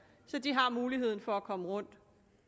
så de har muligheden for at komme rundt